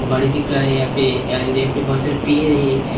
बाडी दिख रहा है यहाँ पे एंड पेड़ है एंड --